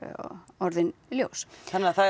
orðin ljós þannig að það